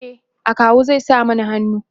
e akawu zai sa mana hannu